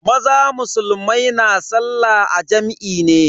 Maza musulmai na sallah a jam'i ne.